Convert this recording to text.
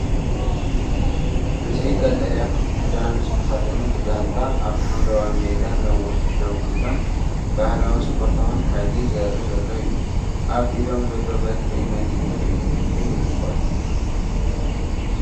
እዚ ቀጠልያ ክዳን ዝተኸድነት ጋንታ ኣብ ሓምላይ ሜዳ ነዊሕ ደው ኢሎም ባህላውን ስፖርታውን ሓይሊ ዘርኢ ዘሎ እዩ። ኣብ ኢዶም ዘሎ በትሪ ነቲ ትርኢት ክብሪ ይውስኸሉ።